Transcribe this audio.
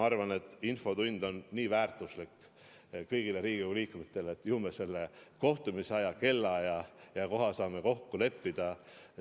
Ma arvan, et infotund on nii väärtuslik kõigile Riigikogu liikmetele, et ju me saame selle kohtumise päeva, kellaaja ja koha mujal kokku leppida.